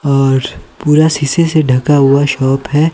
और पूरा शीशे से ढका हुआ शॉप है।